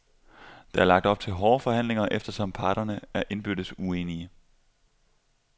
Der er lagt op til hårde forhandlinger, eftersom parterne er indbyrdes uenige.